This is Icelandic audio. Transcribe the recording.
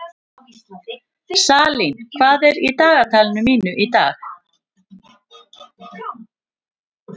Salín, hvað er í dagatalinu mínu í dag?